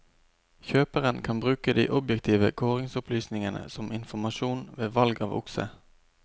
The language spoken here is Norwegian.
Kjøperen kan bruke de objektive kåringsopplysningene som informasjon ved valg av okse.